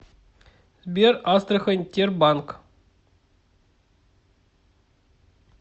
сбер астрахань тербанк